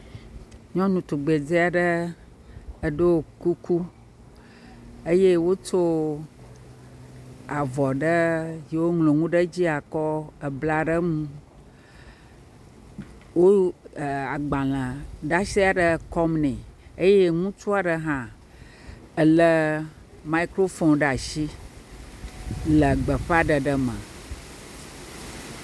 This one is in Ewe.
Nyɔnutugbedzea ɖe ɖeo kuku eye wotso avɔ ɖe yiwo woŋlo nu ɖe edzi kɔ ebla ɖe eŋu. Wowu eeee agbaleaɖase ɖe kɔm nɛ. Eye ŋutsua ɖe hã le mikrofoni ɖe asi le gbeƒaɖeɖe me.